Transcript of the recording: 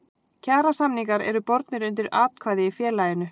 Kjarasamningar eru bornir undir atkvæði í félaginu.